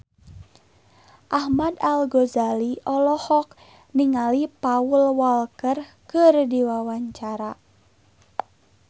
Ahmad Al-Ghazali olohok ningali Paul Walker keur diwawancara